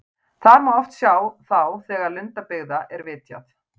Þar má oft sjá þá þegar lundabyggða er vitjað.